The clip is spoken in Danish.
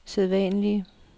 sædvanlige